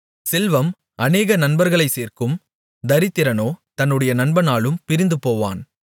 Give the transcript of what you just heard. செல்வம் அநேக நண்பர்களைச் சேர்க்கும் தரித்திரனோ தன்னுடைய நண்பனாலும் பிரிந்துபோவான்